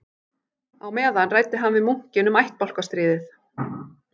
Á meðan ræddi hann við munkinn um ættbálkastríðið